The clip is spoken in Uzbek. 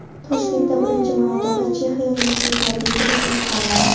Toshkentda birinchi marotaba Chexiya universitetlariga kirish imtihonlari.